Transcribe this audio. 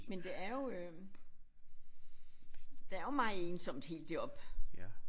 Men det er jo øh der er jo meget ensomt helt deroppe